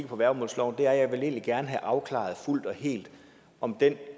på værgemålsloven er at jeg egentlig gerne vil have afklaret fuldt og helt om den